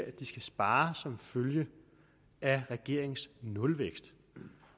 at de skal spare som følge af regeringens nulvækst